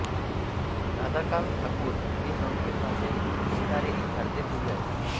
राधाकांत ठाकुर हे संस्कृत भाषेत लिहिणारे एक भारतीय कवी आहेत